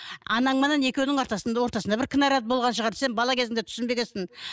анаңменен екеуінің ортасында ортасында бір кінәрат болған шығар сен бала кезіңде түсінбегенсің